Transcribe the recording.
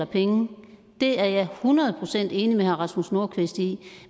penge det er jeg hundrede procent enig med herre rasmus nordqvist i